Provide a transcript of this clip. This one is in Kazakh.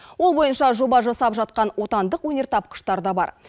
ол бойынша жоба жасап жатқан отандық өнертапқыштар да бар